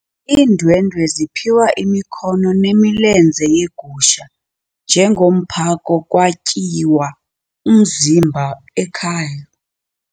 Iindwendwe ziphiwe imikhono nemilenze yegusha njengomphako kwatyiwa umzimba ekhaya.